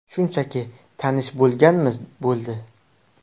Shunchaki tanish bo‘lganmiz, bo‘ldi.